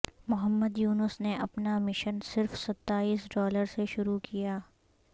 محمد یونس نے اپنا مشن صرف ستائیس ڈالر سے شروع کیا